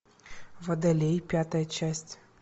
водолей пятая часть